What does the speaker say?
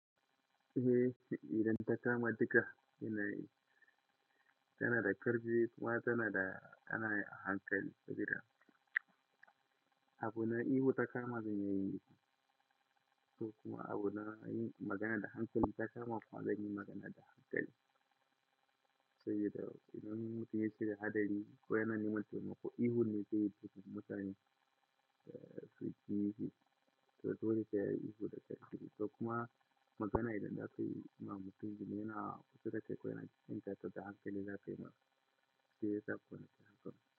Eh shi idan ta kama diga yana yi, tana da ƙarfi kuma tana da, tana da hankali gida. Abu na ihu ta kama zai yi miki, ko kuma abu na yin magana da hankali ta kama kuwa zan yi magana da hankali. Saboda idan mutum ya shirya hadari ko yana neman taimako, ihu ne zai fi mutane, eh, fuskashi. To dole sai yayi ihu da ƙarfi. To kuma magana idan na kai ma mutum, idan yana kusa da kai ko yana jinka tunda hankali, za ka yi ma shi, sai dai ko yana da hankali.